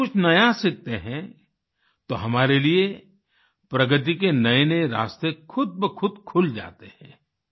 जब हम कुछ नया सीखते हैं तो हमारे लिए प्रगति के नएनए रास्ते खुदबखुद खुल जाते हैं